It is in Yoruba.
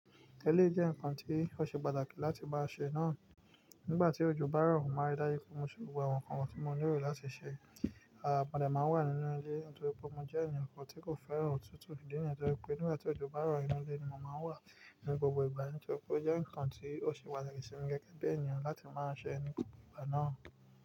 Eléyìí jẹ́ nǹkan tí ó ṣe pàtàkì láti máa ṣe náà. Nígbà tí ojo bá rọ, mo màá rí daju pé mo ṣe gbogbo àwọn nǹkan tí mo nílò láti ṣe. À mọ̀dé máa ń we nínú ilé nítorí pé mo jẹ́ èeyàn kan tí kò fẹ́ràn òtútù ìdí nìyẹn. Nítorí pé nígbà tí ojo bá ro, ínú ilé ni mo máa wà ní gbogbo ìgbà. Nítorí pé ó jẹ́ nǹkan tí ó ṣe pàtàkì sí mi gẹ́gẹ́ bí ènìyàn láti máa ṣe ní gbogbo ìgbà náà.